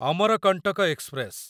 Amarkantak express